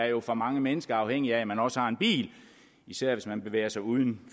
jo for mange mennesker afhængigt af at man også har en bil især hvis man bevæger sig uden